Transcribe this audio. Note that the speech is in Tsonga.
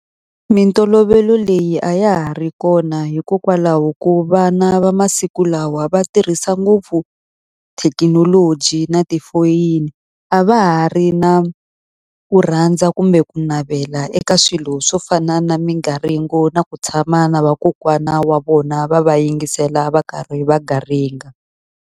Mintolovelo leyi a ya ha ri kona hikokwalaho ko vana va masiku lawa va tirhisa ngopfu thekinoloji na tifoyini. A va ha ri na ku rhandza kumbe ku navela eka swilo swo fana na migaringo na ku tshama na vakokwana wa vona, va va yingisela va karhi va garinga.